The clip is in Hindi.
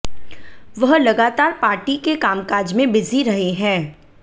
वह लगातार पार्टी के कामकाज में बिजी रहे हैं